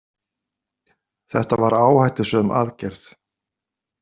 Þetta var áhættusöm aðgerð.